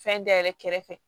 Fɛn da yɛlɛ kɛrɛfɛ